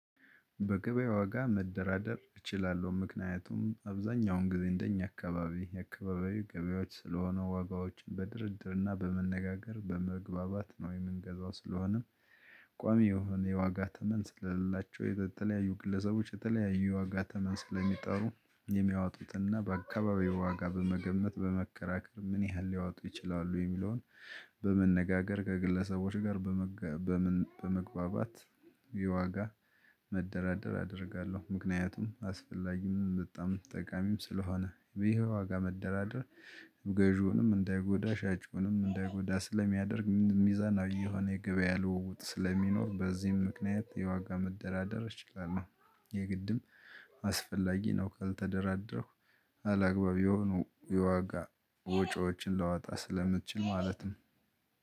በገበያው ዋጋ መደራደር እችላለሁ ምክንያቱም አብዛኛውን ጊዜ እንደኛ አካባቢ የአካባቢው ገበያዎች ስለሆኑ ዋጋዎችን በድርድርና በመነጋገር በመግባባት ነው የምንገዛው ስለሆነም። ቋሚ የሆነ የዋጋ ተመን ስለሌላቸው የተለያዩ ግለሰቦች የተለያዩ የዋጋ ተመን ስለሚጠሩ የሚያወጡትና በአካባቢው ዋጋ በመገመት በመከራከር ምን ያህል ሊያወጡ ይችላሉ የሚለውን በመነጋገር ከግለሰቦች ጋር በመግባባት የዋጋ መደራደር አደርጋለሁ። ምክንያቱም አስፈላጊም በጣም ጠቃሚም ስለሆነ ይሄ ዋጋ መደራደር ገዢውንም እንዳይጎዳ ሻጭውንም እንዳይጎዳ ስለሚያደርግ ሚዛን የሆነ የገበያ ልውውጥ ስለሚኖር በዚህም ምክንያት የዋጋ መደራደር ችግር ነው። የግድም አስፈላጊ ነው። ካልተደራደርክ አላግባብ የሆኑ የዋጋ ወጪዎችን ላወጣ ስለምችል ማለትም